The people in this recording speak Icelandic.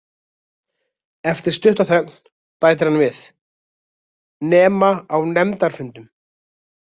Eftir stutta þögn bætir hann við: Nema á nefndarfundum.